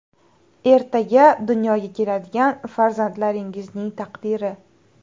Ertaga dunyoga keladigan farzandlaringizning taqdiri.